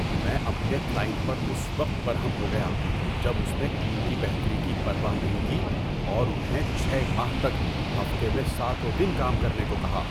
میں اپنے کلائنٹ پر اس وقت برہم ہو گیا جب اس نے ٹیم کی بہتری کی پرواہ نہیں کی اور انہیں چھ ماہ تک ہفتے میں ساتوں دن کام کرنے کو کہا۔